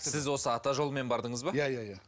сіз осы ата жолымен бардыңыз ба иә иә иә